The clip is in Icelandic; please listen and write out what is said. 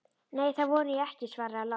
Nei, það vona ég ekki, svaraði Lárus.